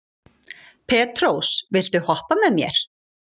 Petrós, viltu hoppa með mér?